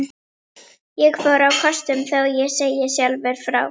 Ég fór á kostum, þó ég segi sjálfur frá.